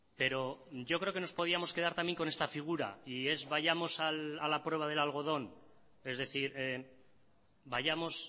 pero yo creo que nos podíamos quedar también con esta figura y es vayamos a la prueba del algodón es decir vayamos